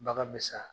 Bagan bɛ sa